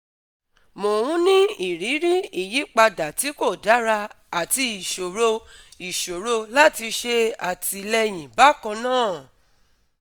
Mò ń ní ìrírí ìyípadà tí kò dára àti ìṣòro ìṣòro láti ṣe àtìlẹyìn bákan náà